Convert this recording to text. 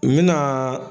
N bɛna